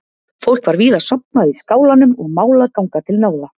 Fólk var víða sofnað í skálanum og mál að ganga til náða.